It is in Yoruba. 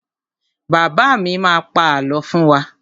Bàbá bàbá mi má pa àlọ́ fún wa.